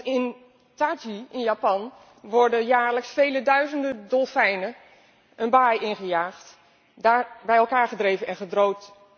In Taiji, Japan, worden jaarlijks vele duizenden dolfijnen een baai ingejaagd, daar bij elkaar gedreven en gedood.